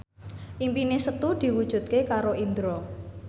impine Setu diwujudke karo Indro